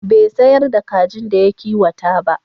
Bai sayar da kajin da ya kiwata ba.